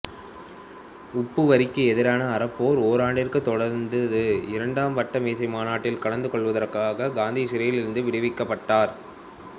உப்பு வரிக்கு எதிரான அறப்போர் ஓராண்டிற்குத் தொடர்ந்தது இரண்டாம் வட்ட மேசை மாநாட்டில் கலந்து கொள்வதற்காகக் காந்தி சிறையிலிருந்து விடுவிக்கப்பட்டார்